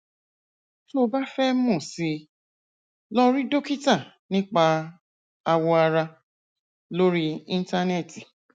tó o bá fẹ mọ sí i lọ rí dókítà nípa awọ ara lórí íńtánẹẹtì